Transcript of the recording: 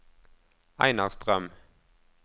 Einar Strøm